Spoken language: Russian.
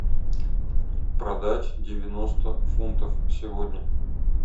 продать девяносто фунтов сегодня